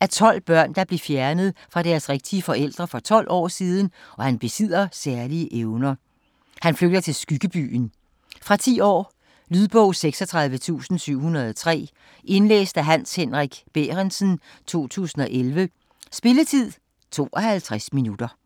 af tolv børn der blev fjernet fra deres rigtige forældre for 12 år siden og han besidder særlige evner. Han flygter til Skyggebyen. Fra 10 år. Lydbog 36703 Indlæst af Hans Henrik Bærentsen, 2011. Spilletid: 0 timer, 52 minutter.